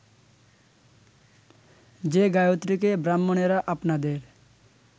যে গায়ত্রীকে ব্রাহ্মণেরা আপনাদের